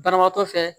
Banabaatɔ fɛ